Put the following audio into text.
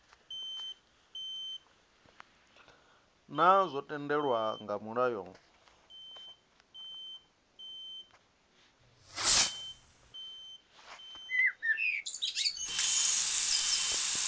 naa zwo tendelwa nga mulayo